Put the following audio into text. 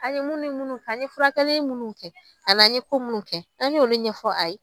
A ye munni munnu kɛ, an ye furakɛli munnu kɛ, an n'an ye ko munnu kɛ, an ye olu ɲɛfɔ a ye.